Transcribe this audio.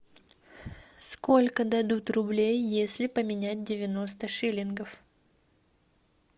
сколько дадут рублей если поменять девяносто шиллингов